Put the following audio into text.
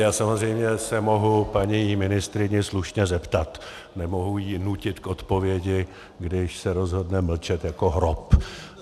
Já samozřejmě se mohu paní ministryně slušně zeptat, nemohu ji nutit k odpovědi, když se rozhodne mlčet jako hrob.